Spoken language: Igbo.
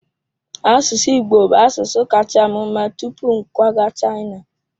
Asụsụ Igbo bụ asụsụ kacha m mma tupu m kwaga China.